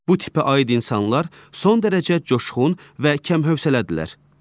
Bu tipə aid insanlar son dərəcə coşğun və kəmfövsələdirlər.